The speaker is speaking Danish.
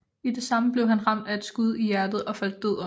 I det samme blev han ramt af et skud i hjertet og faldt død om